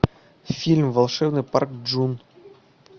фильм волшебный парк джун